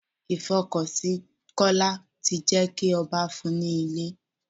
Ìfọkànsìn Kọ́lá ti jé kí ọba fún un ní ilé.